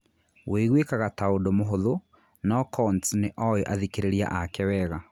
Wĩiguikaga ta ũndũ mũhũthũ, no Coontz nĩ oĩ athikĩrĩria ake wega.